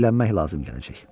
Dilənmək lazım gələcək.